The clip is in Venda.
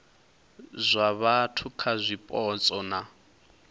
zwa vhathu kha zwipotso na